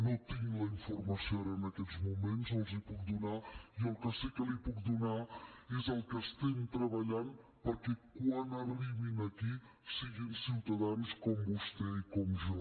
no tinc la informació ara en aquests moments no els la puc donar i el que sí que li puc donar és el que estem treballant perquè quan arribin aquí siguin ciutadans com vostè i com jo